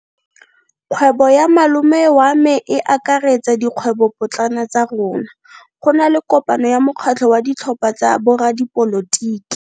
Kgwebo ya malome wa me e akaretsa dikgwebopotlana tsa rona. Go na le kopano ya mokgatlho wa ditlhopha tsa boradipolotiki.